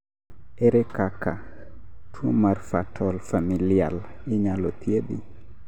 ere kaka tuwo mar fatal familial inyalo thiedh?